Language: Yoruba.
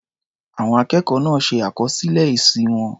Àwọn akẹ́kọ̀ọ́ náà ṣe àkọsílẹ̀ èsì wọn.